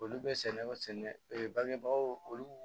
Olu bɛ sɛnɛ ee bangebaw olu